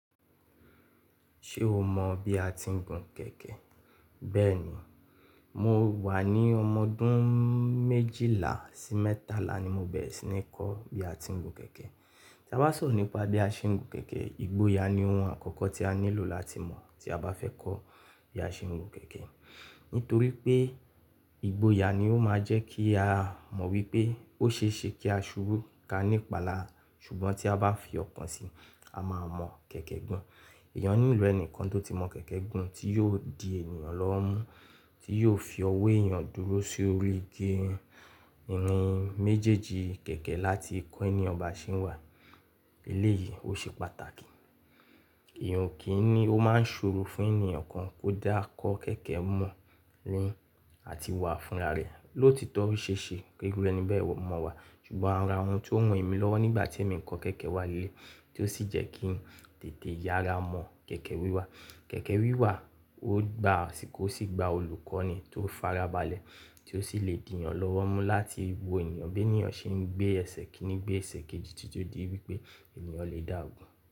Ṣé o mọ̀ bí a ti ń gun kẹ̀kẹ́? Bẹ́ẹ̀ ni, mo wà ní ọmọ ọdún méjìlá sí mẹ́tàlá ni mo bẹ̀rẹ̀ sí ní kọ́ bí a ti ń gun kẹ̀kẹ́. Tí a bá sọ̀rọ̀ nípa bí a ṣe ń gun kẹ̀kẹ́, ìgboyà ni ohun àkọ́kọ́ tí a nílò láti mọ̀ tí a bá fẹ́ kọ́ bí a ṣe ń gun kẹ̀kẹ́. Nítorí pé ìgboyà ni ó máa jẹ́ kí a mọ̀ wípé ó ṣe é ṣe kí a ṣurú ká nípa lára. Ṣùgbọ́n tí a bá fi ọkàn sí i, a máa mọ̀ kẹ̀kẹ́ gùn. Eyan nílò ẹnìkan tó ti mọ̀ kẹ̀kẹ́ gùn, tí yóò di ènìyàn lọ́wọ́ mú, tí yóò fi ọwọ́ èèyàn dúró sórí ìnrin méjèèjì kẹ̀kẹ́ láti kọ́ eniyan ba ṣe n wà. Eléyìí ó ṣe pàtàkì. Eeyan o kí n ni, ó máa ń ṣòro fún ènìyàn kan kó dá kọ́ kẹ̀kẹ́ mọ̀ ni àti wà fúnra rẹ̀. Lotito ó ṣe é ṣe pé iru ẹni bẹ́ẹ̀ o mọ̀ wà, ṣùgbọ́n ara ohun tó ran emí lọ́wọ́ nígbà tí èmi ń kọ́ kẹ̀kẹ́ wà lé leyi, tí ó sì jẹ́ kí n tètè yára mọ̀ kẹ̀kẹ́ wíwà. Kẹ̀kẹ́ wíwà ó gba, asìko o sì gba olùkọ́ni tó fara balẹ̀, tí ó sì lè diyàn lọ́wọ́ mú láti wo eniyan bí eniyan ṣe ń gbé ẹsẹ̀ kínní, gbé ẹsẹ̀ kejì títí ó di wípé eniyan lè dá gun.